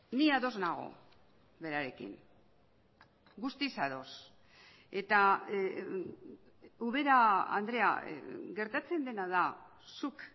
ni ados nago berarekin guztiz ados eta ubera andrea gertatzen dena da zuk